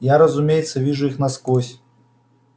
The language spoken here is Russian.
я разумеется вижу их насквозь